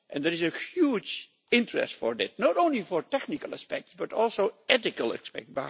There is a huge interest for that, not only for technical aspects but also ethical aspects.